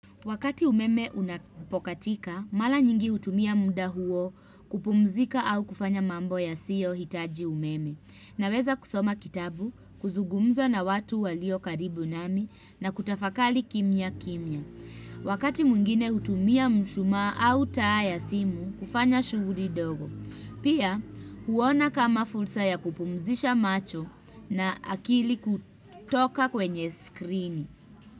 Wakati umeme unapokatika, mara nyingi hutumia muda huo kupumzika au kufanya mambo yasiyohitaji umeme. Naweza kusoma kitabu, kuzungumza na watu walio karibu nami na kutafakari kimya kimya. Wakati mwingine hutumia mshumaa au taa ya simu kufanya shughuli dogo. Pia huona kama fursa ya kupumzisha macho na akili kutoka kwenye skrini.